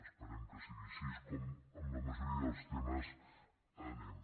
esperem que sigui així com amb la majoria dels temes anem